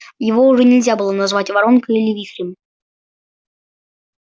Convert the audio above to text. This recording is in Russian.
его уже нельзя было назвать воронкой или вихрем